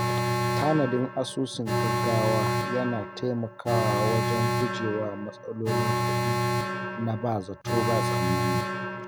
Tanadin asusun gaugawa yana taimakawa wajen guje wa matsalolin kuɗi na ba zato ba tsammani.